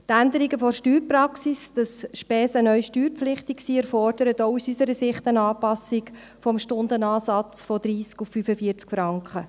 Die Änderung der Steuerpraxis, wonach Spesen neu steuerpflichtig sind, erfordert auch aus unserer Sicht eine Anpassung des Stundenansatzes von 30 auf 45 Franken.